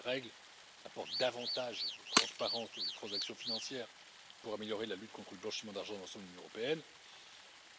Ces nouvelles règles apportent davantage de transparence sur les transactions financières pour améliorer la lutte contre le blanchiment d'argent dans l'ensemble de l'Union européenne.